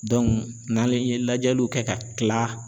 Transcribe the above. n'ale ye lajɛliw kɛ ka tila